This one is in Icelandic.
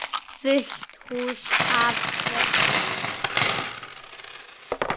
Fullt hús af börnum.